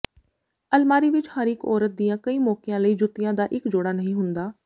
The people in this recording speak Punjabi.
ਅਲਮਾਰੀ ਵਿੱਚ ਹਰ ਇਕ ਔਰਤ ਦੀਆਂ ਕਈ ਮੌਕਿਆਂ ਲਈ ਜੁੱਤੀਆਂ ਦਾ ਇਕ ਜੋੜਾ ਨਹੀਂ ਹੁੰਦਾ